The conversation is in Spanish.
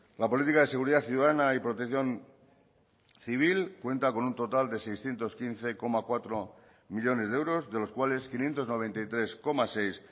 la política de seguridad ciudadana y protección civil cuenta con un total de seiscientos quince coma cuatro millónes de euros de los cuales quinientos noventa y tres coma seis